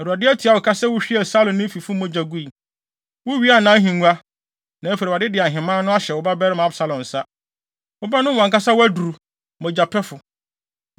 Awurade atua wo ka sɛ wuhwiee Saulo ne ne fifo mogya gui. Wuwiaa nʼahengua, na afei Awurade de ahemman no ahyɛ wo babarima Absalom nsa. Wobɛnom wʼankasa wʼaduru, mogyapɛfo.”